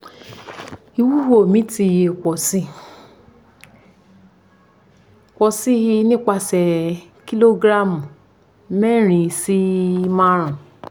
iwuwo mi ti pọ si pọ si nipasẹ kilogramu mẹrin si marun